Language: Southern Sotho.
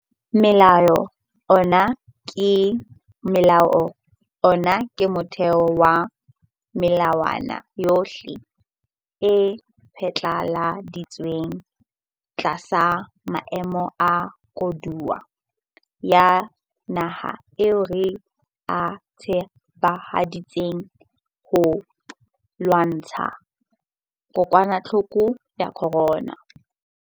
Molao ona ke motheo wa melawana yohle e phatlaladitsweng tlasa maemo a koduwa ya naha ao re a tsebahaditseng ho lwantsha kokwanahloko ya corona.